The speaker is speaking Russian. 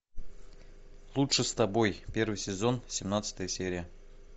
лучше с тобой первый сезон семнадцатая серия